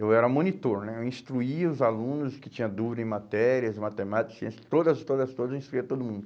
Eu era monitor né, eu instruía os alunos que tinha dúvidas em matérias, matemática, ciência, todas, todas, todas, eu instruía todo mundo.